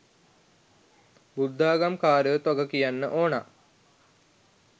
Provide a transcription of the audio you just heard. බුද්ධාගම් කාරයොත් වග කියන්න ඕන.